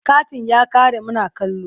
Katin ya ƙare muna kallo.